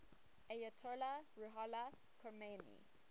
ayatollah ruhollah khomeini